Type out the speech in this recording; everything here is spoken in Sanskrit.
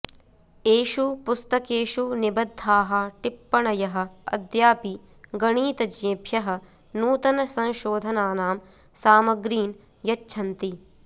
एषु पुस्तकेषु निबद्धाः टिप्पण्यः अद्यापि गणीतज्ञेभ्यः नूतनसंशोधनानां सामग्रीन् यच्छन्ति